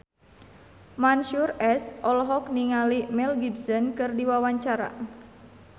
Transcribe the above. Mansyur S olohok ningali Mel Gibson keur diwawancara